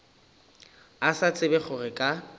a sa tsebe gore ka